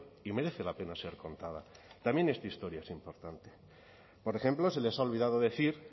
y merece la pena ser contada también esta historia es importante por ejemplo se les ha olvidado decir